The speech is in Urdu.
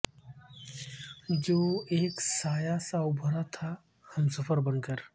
جو ایک سایہ سا ابھرا تھا ہمسفر بن کر